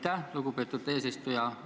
Aitäh, lugupeetud eesistuja!